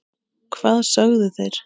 Hvað sögðu þeir?